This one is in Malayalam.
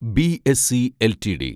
BSE LTD